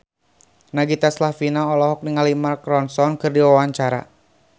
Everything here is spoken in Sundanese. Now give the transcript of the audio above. Nagita Slavina olohok ningali Mark Ronson keur diwawancara